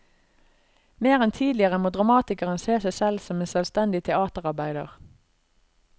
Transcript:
Mer enn tidligere må dramatikeren se seg selv som en selvstendig teaterarbeider.